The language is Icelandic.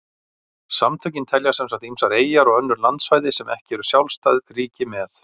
Samtökin telja sem sagt ýmsar eyjar og önnur landsvæði sem ekki eru sjálfstæð ríki með.